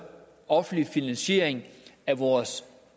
offentlig finansiering af vores